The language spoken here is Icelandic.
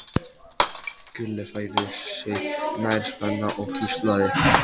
Gulli færði sig nær Svenna og hvíslaði